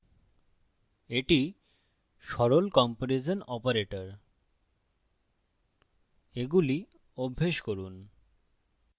এটি সরল comparison operators এগুলি অভ্যাস করুন